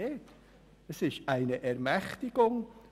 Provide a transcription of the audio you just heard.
Er gibt vielmehr eine Ermächtigung.